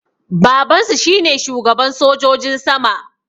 Babansu shine shugaban sojojin sama